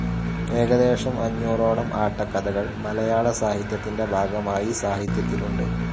ഏകദേശം അഞ്ഞൂറോളം ആട്ടക്കഥകൾ മലയാളസാഹിത്യത്തിന്റെ ഭാഗമായി സാഹിത്യത്തിലുണ്ട്.